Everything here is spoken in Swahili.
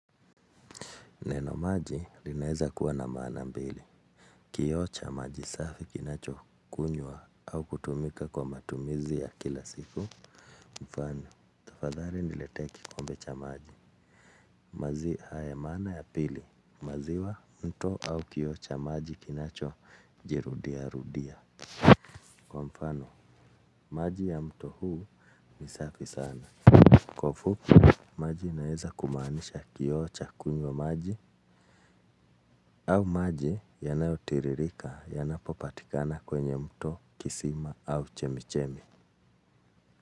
Neno maji linaeza kuwa na maana mbili. Kioo cha maji safi kinacho kunywa au kutumika kwa matumizi ya kila siku. Mfano, tafadhali niletee kikombe cha maji. Maji haya maana ya pili. Maziwa mto au kioo cha maji kinacho jirudia rudia. Mfano, maji ya mto huu ni safi sana. Kwa ufupi, maji inaeza kumaanisha kioo cha kunywa maji. Au maji yanayotiririka yanapopatikana kwenye mto kisima au chemichemi.